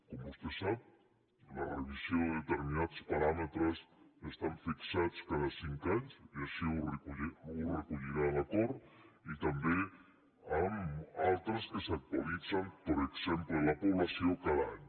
com vostè sap la revisió de determinats paràmetres està fixada cada cinc anys i així ho recollirà l’acord i també amb altres que s’actualitzen per exemple la població cada any